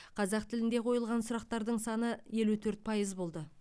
қазақ тілінде қойылған сұрақтардың саны елу төрт пайыз болды